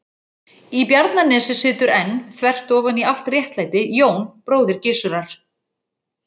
Í Bjarnanesi situr enn, þvert ofan í allt réttlæti, Jón bróðir Gizurar.